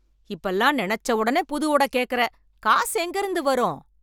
இப்ப எல்லாம் நினச்ச ஒடனே புது ஒட கேக்குற, காசு எங்க இருந்து வரும்?